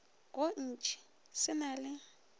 go ntši se na le